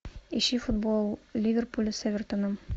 ищи футбол ливерпуля с эвертоном